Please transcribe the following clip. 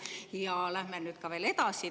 Ja läheme nüüd veel edasi.